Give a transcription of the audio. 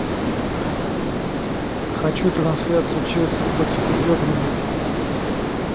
хочу трансляцию челси против бернли